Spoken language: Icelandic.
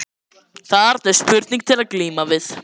Þarna er spurning til að glíma við.